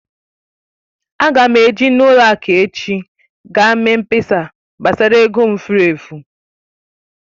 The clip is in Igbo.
Ága m eji n'ụlọ akụ echi gaa mee mkpesa gbasara ego m fụrụ efu